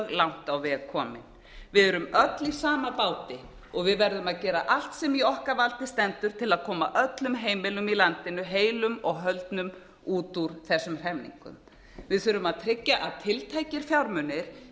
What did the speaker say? langt á veg komin við erum öll í sama báti og við erum að gera allt sem í okkar valdi stendur til að koma öllum heimilum í landinu heilum og höldnum út úr þessum hremmingum við þurfum að tryggja að tiltækir fjármunir